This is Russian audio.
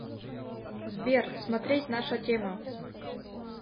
сбер смотреть наша тема